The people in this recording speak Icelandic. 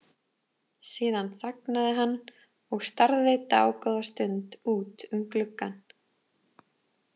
Síðan þagnaði hann og starði dágóða stund út um gluggann.